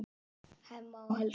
Hemma og Helga.